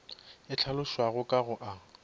e hlalošwago ka go a